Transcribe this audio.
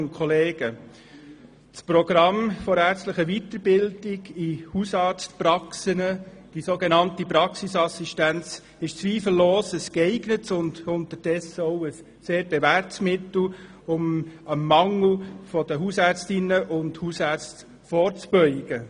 Das Programm zur ärztlichen Weiterbildung in Hausarztpraxen, die so genannte Praxisassistenz, ist zweifellos ein geeignetes und unterdessen auch sehr bewährtes Mittel, um dem Mangel an Hausärztinnen und Hausärzten vorzubeugen.